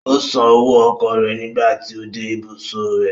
Ó san owó ọkọ̀ rẹ̀ nígbà tí ó dé ìbùsọ̀ rẹ̀.